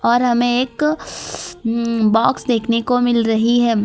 और हमे एक ऊं बॉक्स देखने को मिल रही है।